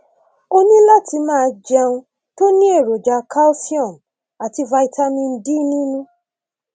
o ní láti máa jẹ oúnjẹ tó ní èròjà calcium àti vitamin d nínú